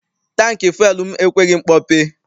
Tankị fụel m ekweghị mkpọpe.